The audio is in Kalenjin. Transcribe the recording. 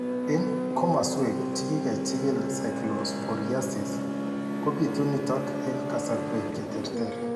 Eng' komaswek chekikechigil cyclosporiasis, kobitu nitok eng' kasarwek cheterter